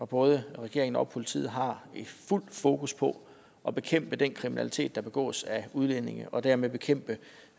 både regeringen og politiet har fuldt fokus på at bekæmpe den kriminalitet der begås af udlændinge og dermed bekæmpe